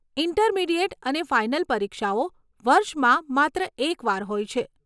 Intermediate અને final પરીક્ષાઓ વર્ષમાં માત્ર એક વાર હોય છે.